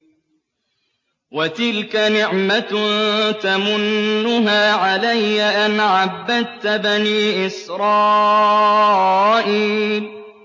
وَتِلْكَ نِعْمَةٌ تَمُنُّهَا عَلَيَّ أَنْ عَبَّدتَّ بَنِي إِسْرَائِيلَ